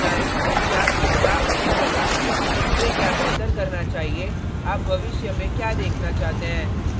मुझे बताएं कि आपको क्या अच्छा लगा मुझे क्या बेहतर करना चाहिए आप भविष्य में क्या देखना चाहते हैं